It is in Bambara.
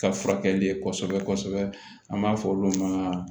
Ka furakɛli kɔsɛbɛ kɔsɛbɛ an b'a fɔ olu ma